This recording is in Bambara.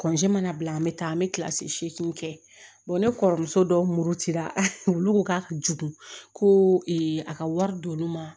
mana bila an bɛ taa an bɛ kilasi segin kɛ ne kɔrɔmuso dɔw muru cira olu ko k'a ka jugu ko ee a ka wari don olu ma